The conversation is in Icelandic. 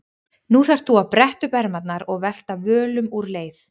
Nú þarft þú að bretta upp ermarnar og velta völum úr leið.